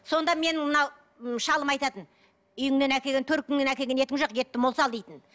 сонда менің мынау шалым айтатын үйіңнен әкелген төркініңнен әкелген етің жоқ етті мол сал дейтін